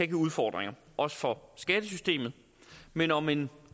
give udfordringer også for skattesystemet men om en